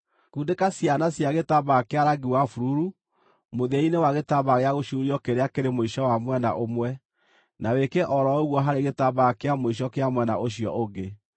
Kundĩka ciana cia gĩtambaya kĩa rangi wa bururu mũthia-inĩ wa gĩtambaya gĩa gũcuurio kĩrĩa kĩrĩ mũico wa mwena ũmwe, na wĩke o ro ũguo harĩ gĩtambaya kĩa mũico kĩa mwena ũcio ũngĩ.